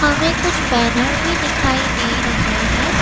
हमें कुछ बैनर भी दिखाई दे रहे हैं।